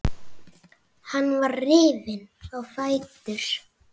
Hann var rifinn á fætur.